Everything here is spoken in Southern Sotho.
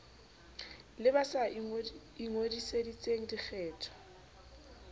le ba sa ingodisetseng dikgetho